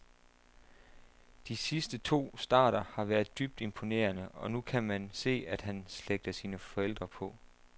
De sidste to starter har været dybt imponerende, og nu kan man se, at han slægter sin forældre på.